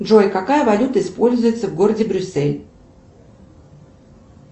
джой какая валюта используется в городе брюссель